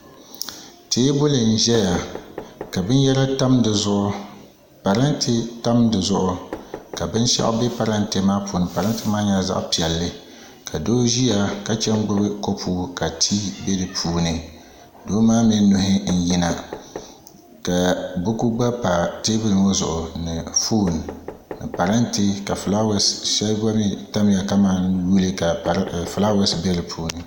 Teebuli n ʒɛya ka binyɛra tam di zuɣu parantɛ tam di zuɣu ka binshaɣu bɛ paramtɛ maa puuni parantɛ maa nyɛla zaɣ piɛlli ka doo ʒiya ka gbubi kopu ka tii bɛ di puuni doo maa mii nuhi n yina ka buku gba pa teebuli ŋo zuɣu ni foon ni parantɛ ka shɛli gba mii tamya ka mali nuhi ka fulaawaasi bɛ di puuni